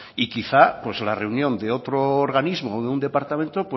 y quizá la reunión de otro organismo o de un departamento